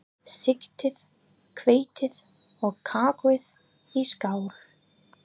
Sigtið hveitið og kakóið í skál.